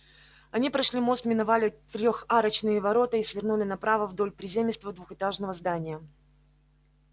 они прошли мост миновали трехарочные ворота и свернули направо вдоль приземистого двухэтажного здания